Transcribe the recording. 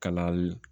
Kalali